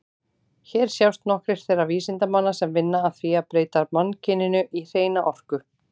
Hér sjást nokkrir þeirra vísindamanna sem vinna að því að breyta mannkyninu í hreina orku.